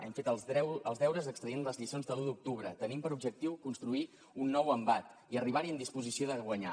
hem fet els deures extraient les lliçons de l’u d’octubre tenim per objectiu construir un nou embat i arribar hi en disposició de guanyar